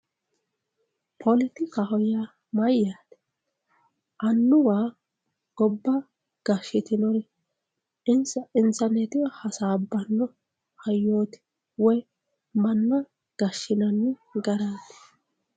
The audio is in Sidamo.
poletikaho yaa mayaate annuwa gobba gashshitinori insa insaneetiwa hasaabanno hayooti woy manna gashshinanni garaati